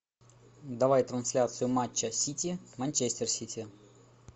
давай трансляцию матча сити манчестер сити